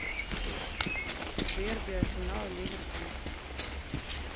дерби арсенал ливерпуль